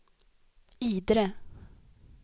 Idre